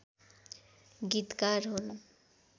गीतकार हुन्